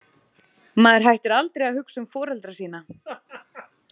Maður hættir aldrei að hugsa um foreldra sína.